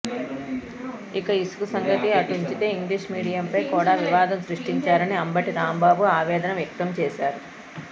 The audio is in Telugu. ఇక ఇసుక సంగతి అటుంచితే ఇంగ్లీషు మీడియంపై కూడా వివాదం సృష్టించారని అంబటి రాంబాబు ఆవేదన వ్యక్తంచేశారు